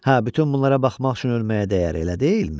Hə, bütün bunlara baxmaq üçün ölməyə dəyər, elə deyilmi?